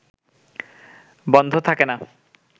বন্ধ থাকে না